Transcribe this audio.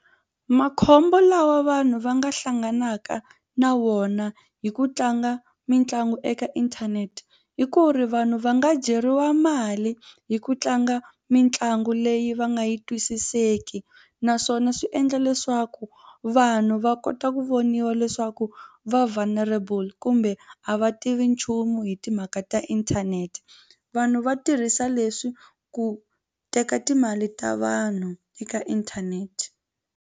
Makhombo lawa vanhu va nga hlanganaka na wona hi ku tlanga mitlangu eka inthanete hi ku ri vanhu va nga dyeriwa mali hi ku tlanga mitlangu leyi va nga yi twisiseki naswona swi endla leswaku vanhu va kota ku voniwa leswaku va vulnerable kumbe a va tivi nchumu hi timhaka ta inthanete vanhu va tirhisa leswi ku teka timali ta vanhu eka inthanete.